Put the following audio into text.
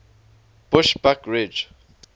bushbuckridge